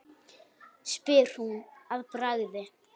spyr hún að bragði.